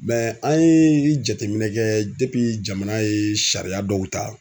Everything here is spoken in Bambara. an ye jateminɛ kɛ jamana ye sariya dɔw ta